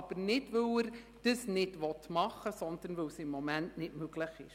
Er tut das also nicht, weil er es nicht machen will, sondern weil es im Moment nicht möglich ist.